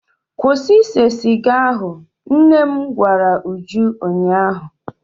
Kwụsị ise siga ahụ! nnem gwara Uju ụnyahụ.